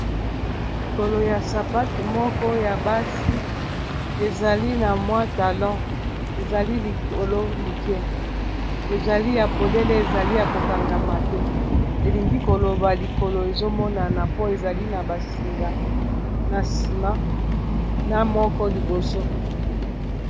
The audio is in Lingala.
Likolo ya sapatu moko ya basi ezali na mwa talon ezali likolo moke ezali ya polele ezali ya kokangama te elingi koloba likolo ezomonana mpo ezali na basinga na sima na moko liboso.